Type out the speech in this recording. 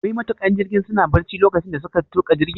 Wai matuƙan jirgin suna barci lokacin da suka tuka jirgin?